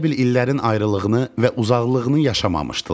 Elə bil illərin ayrılığını və uzaqlığını yaşamamışdılar.